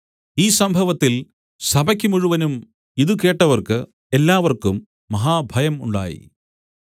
ഈ സംഭവത്തിൽ സഭയ്ക്ക് മുഴുവനും ഇത് കേട്ടവർക്ക് എല്ലാവർക്കും മഹാഭയം ഉണ്ടായി